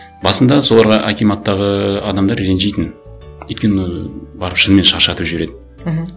басында соларға акиматтағы адамдар ренжитін өйткені барып шынымен шаршатып жібереді мхм